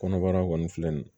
Kɔnɔbara kɔni filɛ nin ye